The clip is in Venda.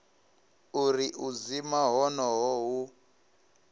uri u dzima honoho hu